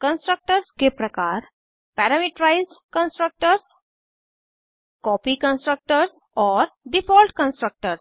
constructors के प्रकार parameterized constructors copy constructors और डिफॉल्ट कंस्ट्रक्टर्स